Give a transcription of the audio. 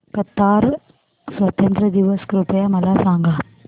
Qatar स्वातंत्र्य दिवस कृपया मला सांगा